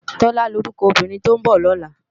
Tola ni órúkò óbìrín tó n bò lòlá